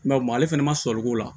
ale fana ma sɔri k'o la